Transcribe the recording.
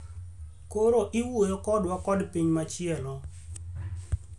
koro iwuoyo kodwa kod piny machielo